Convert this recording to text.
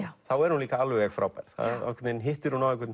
þá er hún líka alveg frábær þá hittir hún á einhvern